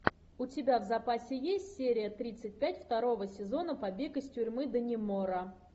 у тебя в запасе есть серия тридцать пять второго сезона побег из тюрьмы даннемора